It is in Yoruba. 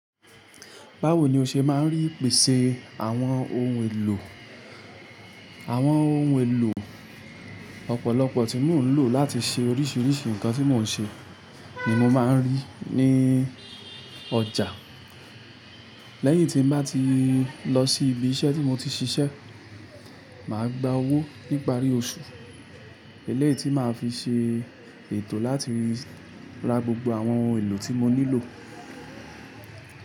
Báwo ni o ṣe máa ń rí ìpèsè àwọn ohun èlò? Àwọn ohun èlò ọ̀pọ̀lọpọ̀ tí mò ń lò láti ṣe oríṣìíríṣìí nǹkan tí mò ń ṣe ni mo máa ń rí ní ọjà. Lẹ́yìn tí n bá ti lọ sí ibi iṣẹ́ tí mo ti ṣiṣẹ́, mà á gba owó nípa rí oṣù, eléyìí tí mà á fi ṣe ètò láti ra gbogbo àwọn ohun èlò tí mo nílò.